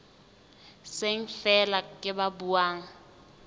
seng feela ke ba buang